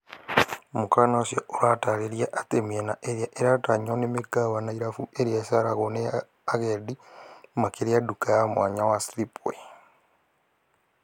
Mũkana ũcio ũratarĩria atĩ , mĩena ĩrĩa ĩratanywo nĩ mĩkawa na irabu irĩa iceragwo nĩ agendi makĩria duka ya mwanya wa Slipway